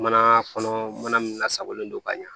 Mana kɔnɔ mana mana min lasagolen don ka ɲa